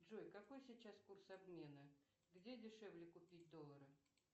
джой какой сейчас курс обмена где дешевле купить доллары